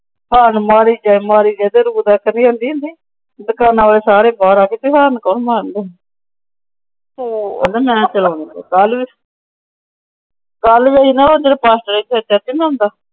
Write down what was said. Horn ਮਾਰੀ ਮਾਰੀ ਗਿਆ ਹੁੰਦੀ ਸੀ। ਦੁਕਾਨਾਂ ਵਾਲੇ ਸਾਰੇ ਬਾਹਰ ਆ ਗਏ। ਹਾਰਨ ਕੌਣ ਮਾਰਨ ਰਿਹਾ। ਕਹਿੰਦਾ ਮੈ ਚਲਾਉਣੀ।